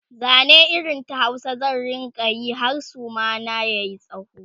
Zane irin ta Hausa zan rinka Yi har Suma na yayi tsawo